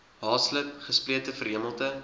haaslip gesplete verhemelte